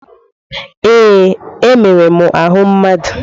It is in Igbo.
Ee. Emere m ahụ mmadụ.